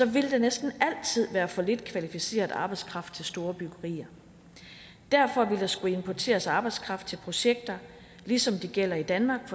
vil der næsten altid være for lidt kvalificeret arbejdskraft til store byggerier derfor vil der skulle importeres arbejdskraft til projekter ligesom det gælder i danmark